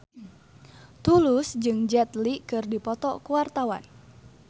Tulus jeung Jet Li keur dipoto ku wartawan